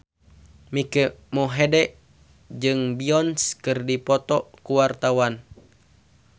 Mike Mohede jeung Beyonce keur dipoto ku wartawan